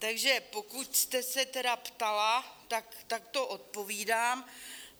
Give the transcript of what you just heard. Takže pokud jste se tedy ptala, tak takto odpovídám.